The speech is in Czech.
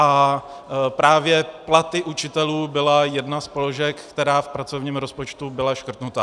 A právě platy učitelů byla jedna z položek, která v pracovním rozpočtu byla škrtnutá.